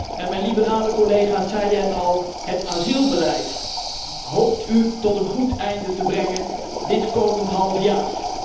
En mijn liberale collega's zeiden het al het asielbeleid hoopt u tot een goed einde te brengen dit komend halfjaar.